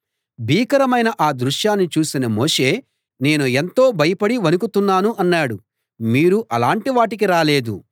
భీకరమైన ఆ దృశ్యాన్ని చూసిన మోషే నేను ఎంతో భయపడి వణుకుతున్నాను అన్నాడు మీరు అలాంటి వాటికి రాలేదు